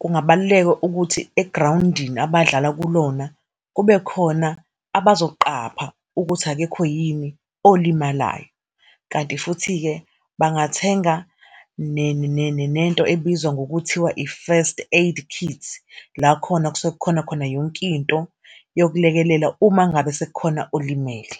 kungabaluleka ukuthi egrawundini abadlala kulona, kube khona abazoqapha ukuthi akekho yini olimalayo. Kanti futhi-ke, bengathenga nento ebizwa ngokuthiwa i-first aid kit, la khona kusuke kukhona khona yonkinto yokulekelela, uma ngabe sekukhona olimele.